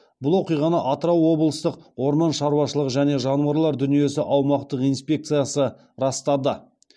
бұл оқиғаны атырау облыстық орман шаруашылығы және жануарлар дүниесі аумақтық инспекциясы растады